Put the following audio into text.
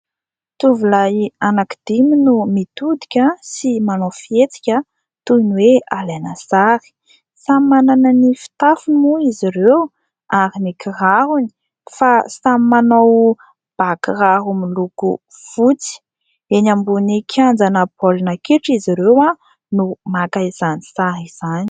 Tovolahy anankidimy no mitodika sy manao fihetsika toy ny hoe alaina sary. Samy manana ny fitafiny moa izy ireo ary ny kirarony fa samy manao bàkiraro miloko fotsy. Eny ambony kianjana baolina kitra izy ireo no maka izany sary izany.